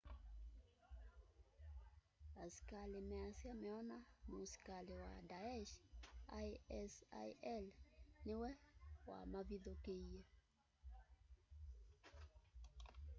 askali measya meona musikali wa daesh isil niwe wa mavithukiie